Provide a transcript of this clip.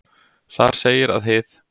Þar segir að hið